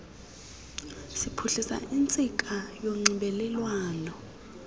siphuhlisa intsika yonxibelelwano